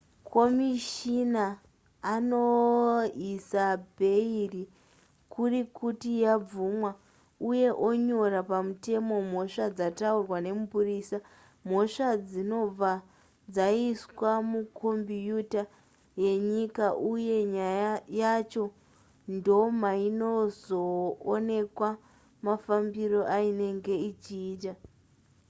komishina anoisa bheiri kuri kuti yabvumwa uye onyora pamutemo mhosva dzataurwa nemupurisa mhosva dzinobva dzaiswa mukombiuta yenyika uye nyaya yacho ndomainozoonekwa mafambiro ainenge ichiita